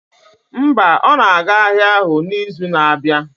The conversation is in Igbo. Mba, ọ na-aga ahịa ahụ n'izu na-abịa